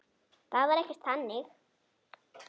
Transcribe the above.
Það var ekkert þannig.